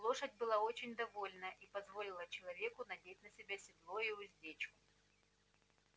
лошадь была очень довольна и позволила человеку надеть на себя седло и уздечку